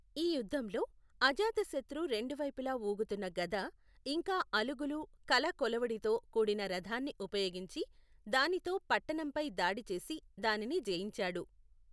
ఈ యుద్ధంలో, అజాతశత్రు రెండు వైపులా ఊగుతున్న గద ఇంకా అలుగులు కల కొడవలితో కూడిన రథాన్ని ఉపయోగించి, దానితో పట్టణంపై దాడి చేసి దానిని జయించాడు.